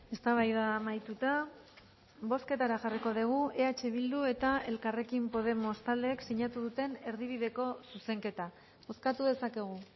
eztabaida amaituta bozketara jarriko dugu eh bildu eta elkarrekin podemos taldeek sinatu duten erdibideko zuzenketa bozkatu dezakegu